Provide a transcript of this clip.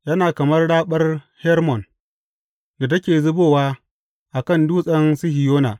Yana kamar raɓar Hermon da take zubowa a kan Dutsen Sihiyona.